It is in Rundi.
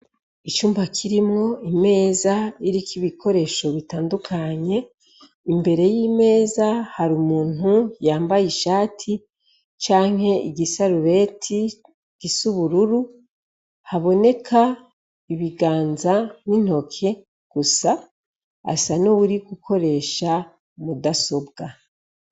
Icumba kirimwo imeza iriko ibikoesho bitandukanye, imbere y'imeza har'umuntu yambaye ishati canke igisarubeti c'ubururu, haboneka ibiganza n'intoki gusa asa n'uwuri gukoresha mudasobwa.